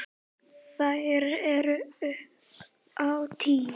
Þær eru upp á tíu.